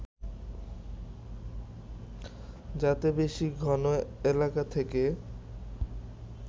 যাতে বেশি ঘন এলাকা থেকে